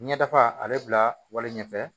Ɲɛda a bɛ bila wale ɲɛfɛ